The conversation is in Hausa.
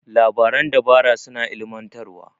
Labaran dabara suna ilimantarwa.